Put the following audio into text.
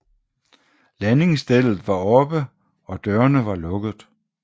Landingsstellet var oppe og dørene var lukket